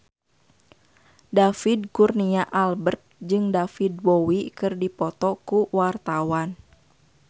David Kurnia Albert jeung David Bowie keur dipoto ku wartawan